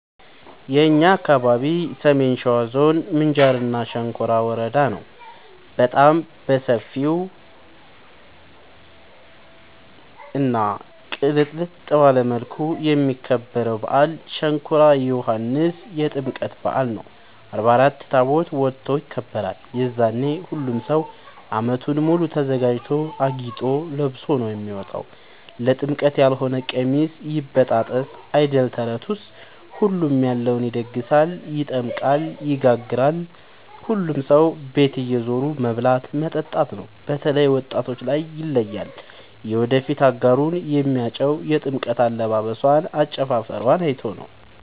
የእኛ አካባቢ ሰሜን ሸዋ ዞን ምንጃር ሸንኮራ ወረዳ ነው። በጣም በሰፊው እና ቅልጥልጥ ባለ መልኩ የሚከበረው በአል ሸንኮራ ዮኋንስ የጥምቀት በአል ነው። አርባ አራት ታቦት ወጥቶ ይከብራል። የዛኔ ሁሉም ሰው አመቱን ሙሉ ተዘጋጅቶ አጊጦ ለብሶ ነው የሚወጣው ለጥምቀት ያሎነ ቀሚስ ይበጣጠስ አይደል ተረቱስ ሁሉም ያለውን ይደግሳል። ይጠምቃል ይጋግራል ሁሉም ሰው ቤት እየዞሩ መብላት መጠጣት ነው። በተላይ ወጣቶች ላይ ይለያል። የወደፊት አጋሩን የሚያጨው የጥምቀት አለባበሶን አጨፉፈሯን አይቶ ነው።